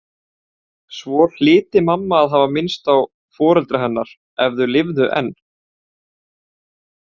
Svo hlyti mamma að hafa minnst á foreldra hennar ef þau lifðu enn.